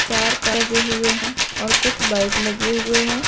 चार लगे हुए हैं और कुछ बाइक लगे हुए हैं।